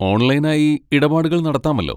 Online ആയി ഇടപാടുകൾ നടത്താമല്ലോ?